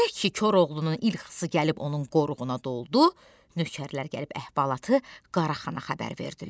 Elə ki Koroğlunun İlkhısı gəlib onun qoruğuna doldu, nökərlər gəlib əhvalatı Qara Xana xəbər verdilər.